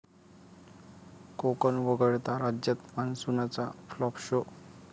कोकण वगळता राज्यात मान्सूनचा फ्लॉप शो!